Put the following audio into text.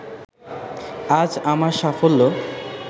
আজ আমার সাফল্য